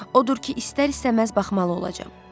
Odur ki, istər-istəməz baxmalı olacam.